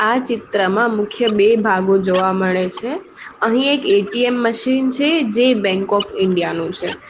આ ચિત્રમાં મુખ્ય બે ભાગો જોવા મળે છે અહીં એક એ_ટી_એમ મશીન છે જે બેંક ઓફ ઇન્ડિયા નું છે.